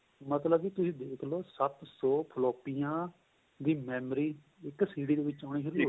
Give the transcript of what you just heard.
ਮਤਲਬ ਕੇ ਤੁਸੀਂ ਦੇਖਲੋ ਸੱਤ ਸ਼ੋ ਫ੍ਲੋਪੀਆਂ ਦੀ memory ਇੱਕ CD ਦੇ ਵਿੱਚ ਹੋਣੀ ਸ਼ੁਰੂ ਹੋ ਗਈ